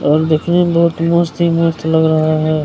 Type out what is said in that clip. और देखने में बहुत मस्त-मस्त लग रहा है --